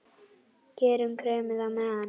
Gerum kremið á meðan!